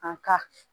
An ka